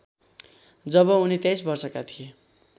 जब उनी २३ वर्षका थिए